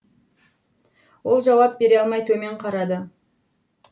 ол жауап бере алмай төмен қарады